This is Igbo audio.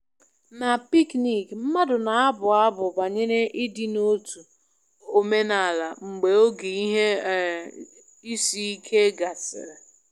Na picnic, mmadụ na-abụ abụ banyere ịdị n'otu omenala mgbe oge ihe um isi ike gasịrị